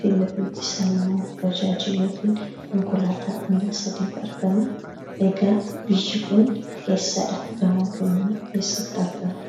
Fiilafiitii isaan ammoo bajaajii yookiin konkolaataa miila sadiitu argama. Egaa biyyi kun eessadha? Gamoon kunimmoo eessatti argama?